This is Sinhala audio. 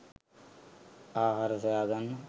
ආහාර සොයා ගන්න